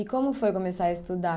E como foi começar a estudar?